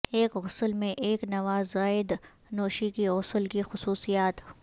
ایک غسل میں ایک نوزائیدہ نوشی کی غسل کی خصوصیات